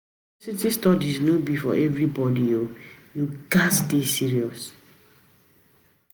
University studies no be for everybodi o, you gats dey serious.